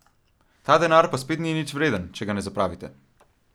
Ta denar pa spet ni nič vreden, če ga ne zapravite.